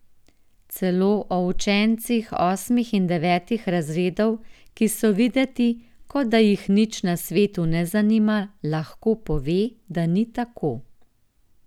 Celo o učencih osmih in devetih razredov, ki so videti, kot da jih nič na svetu ne zanima, lahko pove, da ni tako.